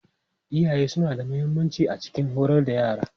Iyaye suna da mahimmanci a cikin horar da yara.